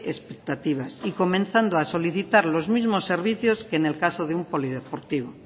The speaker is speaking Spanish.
expectativas y comenzando a solicitar los mismos servicios que en el caso de un polideportivo